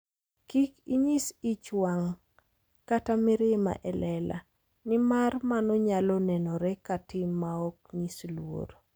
Kik inyis ich wang' kata mirima e lela, nimar mano nyalo nenore ka tim maok nyis luor.